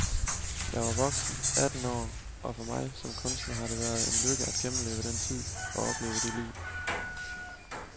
Jeg var voksen, atten år, og for mig som kunstner har det været en lykke at gennemleve den tid og opleve det liv.